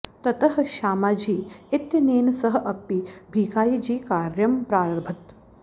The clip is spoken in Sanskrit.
ततः श्यामाजी इत्यनेन सह अपि भीखायीजी कार्यं प्रारभत